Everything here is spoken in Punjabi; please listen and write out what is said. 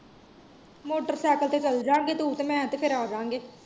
ਮੋਟਰਸਾਈਕਲ ਤੇ ਚਲੇ ਜਾਂਗੇ, ਤੂੰ ਤੇ ਮੈਂ ਤੇ ਫੇਰ ਆਵਾਗੇਂ।